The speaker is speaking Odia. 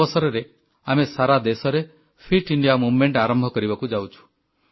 ଏଇ ଅବସରରେ ଆମେ ସାରା ଦେଶରେ ଫିଟ୍ ଇଣ୍ଡିଆ ମୁଭମେଣ୍ଟ ଆରମ୍ଭ କରିବାକୁ ଯାଉଛୁ